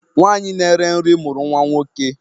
Nwanyị na-ere nri mụrụ nwa nwoke